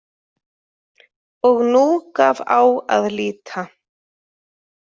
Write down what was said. Og nú gaf á að líta.